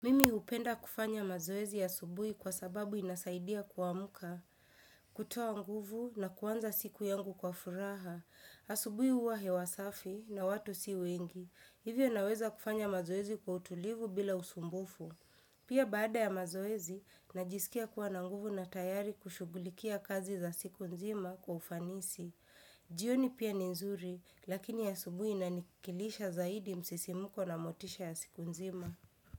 Mimi hupenda kufanya mazoezi asubuhi kwa sababu inasaidia kuamka, kutoa nguvu na kuanza siku yangu kwa furaha. Asubuhi huwa hewa safi na watu si wengi. Hivyo naweza kufanya mazoezi kwa utulivu bila usumbufu. Pia baada ya mazoezi, najisikia kuwa na nguvu na tayari kushughulikia kazi za siku nzima kwa ufanisi. Jioni pia ni nzuri, lakini asubuhi inanikilisha zaidi msisimuko na motisha ya siku nzima.